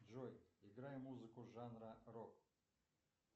джой играй музыку жанра рок